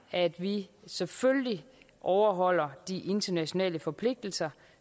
at vi selvfølgelig overholder de internationale forpligtelser